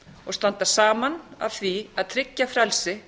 og standa saman að því að tryggja frelsi